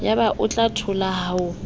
yaba o a thola ho